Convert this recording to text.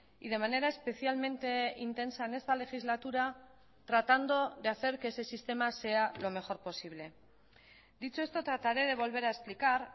y de manera especialmente intensa en esta legislatura tratando de hacer que ese sistema sea lo mejor posible dicho esto trataré de volver a explicar